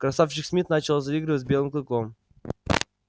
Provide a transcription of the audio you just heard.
красавчик смит начал заигрывать с белым клыком